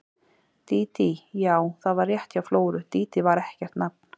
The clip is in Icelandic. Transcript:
Dídí, já, það var rétt hjá Flóru, Dídí var ekkert nafn.